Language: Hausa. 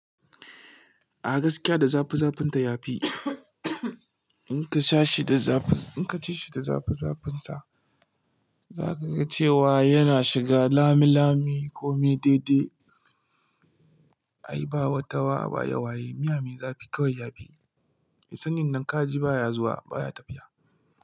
A gaskiya da zafi-zafinta ya fi. In ka sha shi da zafinsa, in ka ci shi da zafi-zafinsa, za ka ga cewa yana shiga lami-lami komai daidai. Ai ba wata wa ba, waye-waye miya mai zafi kawai ya fi. Mai sayin nan kaji baya zuwa baya tafiya.